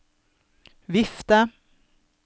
vifte